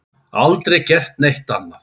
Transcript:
Aldrei gert neitt annað.